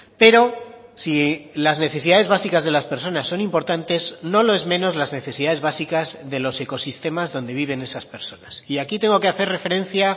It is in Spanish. pero si las necesidades básicas de las personas son importantes no lo es menos las necesidades básicas de los ecosistemas donde viven esas personas y aquí tengo que hacer referencia